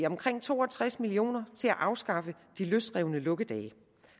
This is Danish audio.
omkring to og tres million kroner til at afskaffe de løsrevne lukkedage